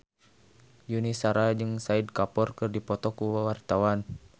Yuni Shara jeung Shahid Kapoor keur dipoto ku wartawan